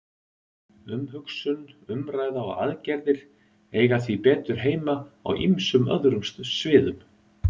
Umhugsun, umræða og aðgerðir eiga því betur heima á ýmsum öðrum sviðum.